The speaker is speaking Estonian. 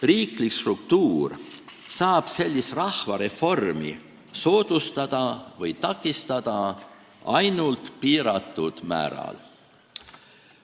Riiklik struktuur saab sellist rahvareformi soodustada või takistada ainult piiratud määral.